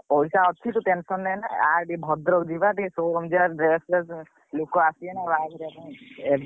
ପଇସା ଅଛି ତୁ tension ନେନା ଆ ଭଦ୍ରକ ଯିବା ଟିକେ ଷୋ ଭୁଞ୍ଜିଆ dress ଫ୍ରେସ ଲୋକ ଆସିବେ ନା ବାହାଘର ପାଇଁ।